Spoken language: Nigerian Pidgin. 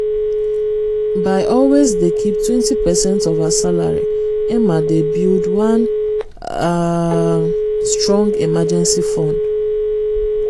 by always dey keep 20 percent of her salary emma dey build one um strong emergency fund.